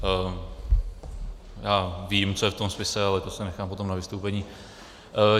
Já vím, co je v tom spise, ale to si nechám potom na vystoupení.